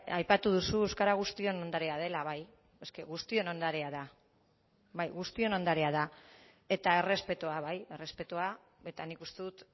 aipatu duzu euskara guztion ondarea dela bai es que guztion ondarea da bai guztion ondarea da eta errespetua bai errespetua eta nik uste dut